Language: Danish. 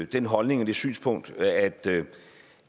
den holdning og det synspunkt at